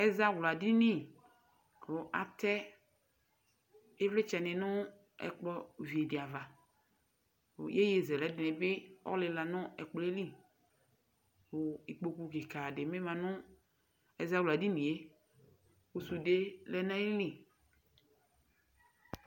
ɛzawla dini kò atɛ ivlitsɛ ni no ɛkplɔ vi di ava yeye zɛlɛ di ni bi ɔlila no ɛkplɔɛ li kò ikpoku keka di bi ma no ɛzawla dini yɛ kò sude lɛ n'ayili.